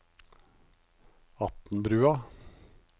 Atnbrua